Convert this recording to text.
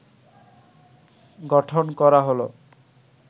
গঠন করা হল